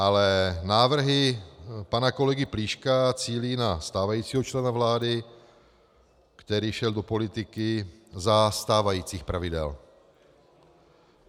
Ale návrhy pana kolegy Plíška cílí na stávajícího člena vlády, který šel do politiky za stávajících pravidel.